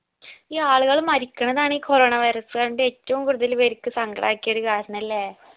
ഈ ആളികൾ മരിക്കണതാണ് ഈ coronavirus എന്നറഞ്ഞിട്ട് ഏറ്റവും കൂടുതല് പേർക്ക് സങ്കടാക്കിയ ഒരു കാരണല്ലേ